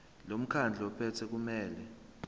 lomkhandlu ophethe kumele